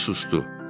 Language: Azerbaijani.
O susdu.